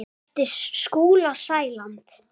eftir Skúla Sæland.